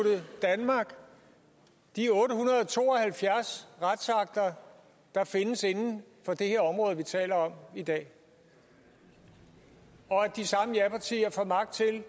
danmark de otte hundrede og to og halvfjerds retsakter der findes inden for det her område vi taler om i dag og at de samme japartier får magt til at